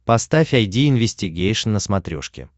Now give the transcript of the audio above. поставь айди инвестигейшн на смотрешке